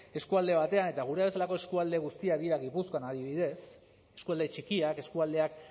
eskualde batean eta gurea bezalako eskualde guztiak dira gipuzkoan adibidez eskualde txikiak eskualdeak